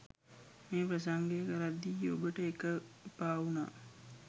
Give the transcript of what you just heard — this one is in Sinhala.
මේ ප්‍රසංගය කරද්දී ඔබට ඒක එපාවුනා.